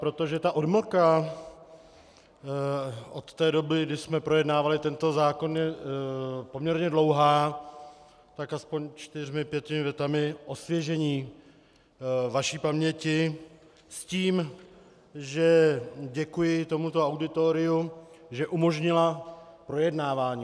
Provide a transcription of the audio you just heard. Protože ta odmlka od té doby, kdy jsme projednávali tento zákon, je poměrně dlouhá, tak aspoň čtyřmi, pěti větami osvěžení vaší paměti s tím, že děkuji tomuto auditoriu, že umožnilo projednávání.